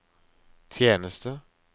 tjeneste